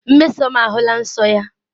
Mmesoma ahụla nsọ ya.